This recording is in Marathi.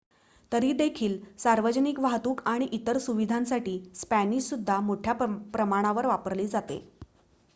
तरी देखील सार्वजनिक वाहतूक आणि इतर सुविधांसाठी स्पॅनिश सुद्धा मोठ्या प्रमाणावर वापरली जाते